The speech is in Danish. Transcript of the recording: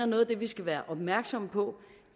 noget af det vi skal være opmærksomme på